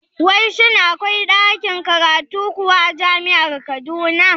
Wai shin akwai ɗakin karatu kuwa a jami'ar Kaduna?